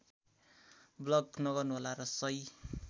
block नगर्नुहोला र सही